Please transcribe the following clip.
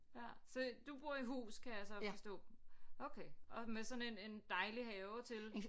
Ja så bor i hus kan jeg så forstå okay og med sådan en en dejlig have til